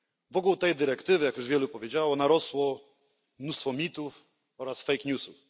Wokół tej dyrektywy, jak już wielu powiedziało, narosło mnóstwo mitów oraz fake newsów.